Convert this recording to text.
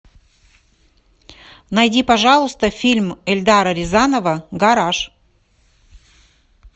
найди пожалуйста фильм эльдара рязанова гараж